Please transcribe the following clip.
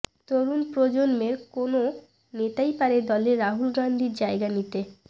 তরুণ প্রজন্মের কোনও নেতাই পারে দলে রাহুল গান্ধীর জায়গা নিতে